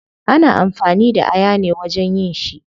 Ana amfani da aya ne wajen yin shi